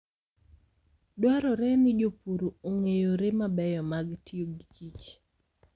Dwarore ni jopur ong'e yore mabeyo mag tiyo gi kich.